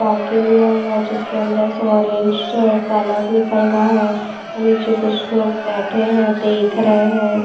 लिया हुआ जिसके अंदर से ऑरेंज्स कलर निकल रहा है नीचे कुछ लोग बैठे हैं देख रहे हैं।